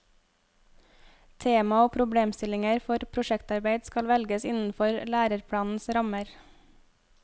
Tema og problemstillinger for prosjektarbeid skal velges innenfor læreplanens rammer.